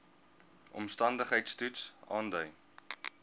omstandigheids toets aandui